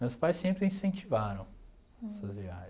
Meus pais sempre incentivaram essas viagens.